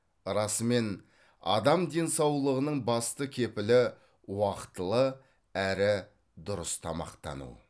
расымен адам денсаулығының басты кепілі уақытылы әрі дұрыс тамақтану